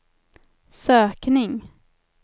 sökning